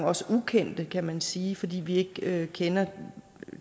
også ukendte kan man sige fordi vi ikke kender